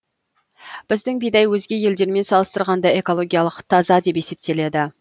біздің бидай өзге елдермен салыстырғанда экологиялық таза деп есептеледі